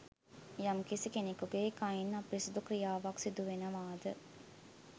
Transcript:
යම්කිසි කෙනෙකුගේ කයින් අපිරිසිදු ක්‍රියාවක් සිදුවෙනවාද